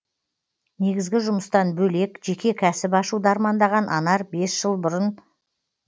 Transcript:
негізгі жұмыстан бөлек жеке кәсіп ашуды армандаған анар бес жыл бұрын